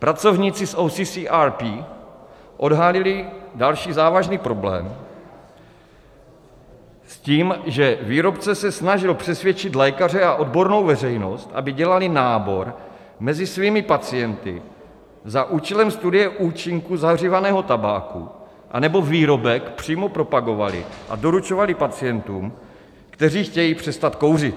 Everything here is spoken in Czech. Pracovníci z OCCRP odhalili další závažný problém s tím, že výrobce se snažil přesvědčit lékaře a odbornou veřejnost, aby dělali nábor mezi svými pacienty za účelem studie účinku zahřívaného tabáku, anebo výrobek přímo propagovali a doručovali pacientům, kteří chtějí přestat kouřit.